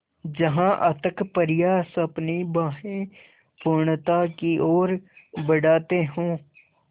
जहाँ अथक प्रयास अपनी बाहें पूर्णता की ओर बढातें हो